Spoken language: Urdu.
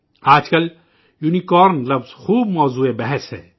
آج کل 'یونی کارن' لفظ خوب سرخیوں میں ہے